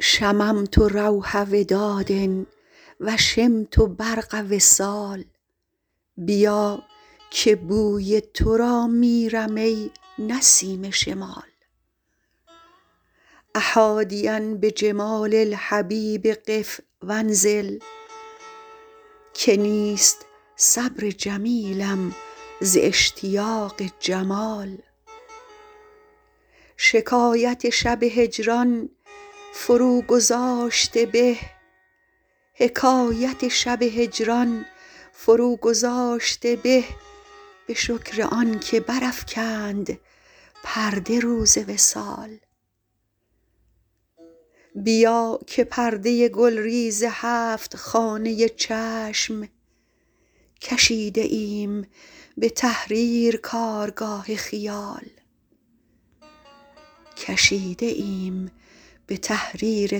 شممت روح وداد و شمت برق وصال بیا که بوی تو را میرم ای نسیم شمال أ حادیا بجمال الحبیب قف و انزل که نیست صبر جمیلم ز اشتیاق جمال حکایت شب هجران فروگذاشته به به شکر آن که برافکند پرده روز وصال بیا که پرده گلریز هفت خانه چشم کشیده ایم به تحریر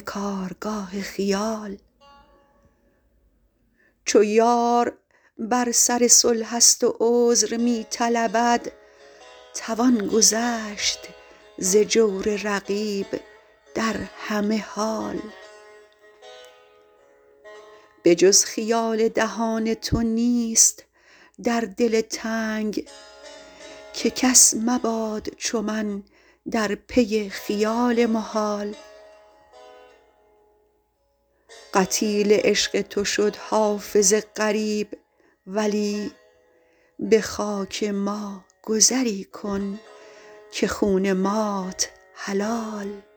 کارگاه خیال چو یار بر سر صلح است و عذر می طلبد توان گذشت ز جور رقیب در همه حال به جز خیال دهان تو نیست در دل تنگ که کس مباد چو من در پی خیال محال قتیل عشق تو شد حافظ غریب ولی به خاک ما گذری کن که خون مات حلال